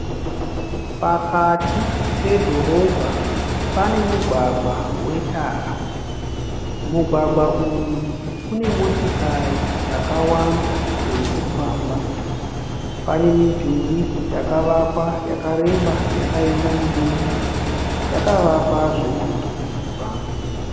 Pakati pedhorobha pane mugwagwa wetara. Mugwagwa uyu une motikari dzakawanda dzirikufamba. Pane midhuri yakavakwa yakareba yakaenda mudenga yakavakwa zvemunhurikidzwa.